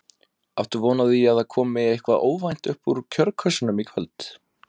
Áttu von á því að það komi eitthvað óvænt upp úr kjörkössunum í kvöld?